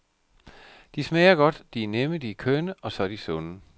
De smager godt, de er nemme, de er kønne, og så er de sunde.